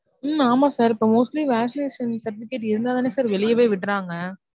உம் ஆமா sir இப்ப mostly vaccination certificate இருந்தா தானே வெளியவே விடுறாங்க.